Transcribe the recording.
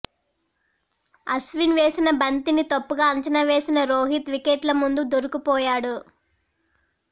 అశ్విన్ వేసిన బంతిని తప్పుగా అంచనా వేసిన రోహిత్ వికెట్ల ముందు దొరికిపోయాడు